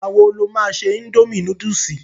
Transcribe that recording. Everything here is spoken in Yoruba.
Ìgbà wo lo ma ṣe indomie núdúsì?